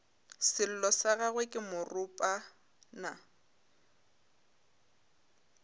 sello sa gagwe ke moropana